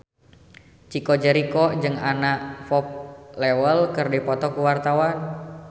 Chico Jericho jeung Anna Popplewell keur dipoto ku wartawan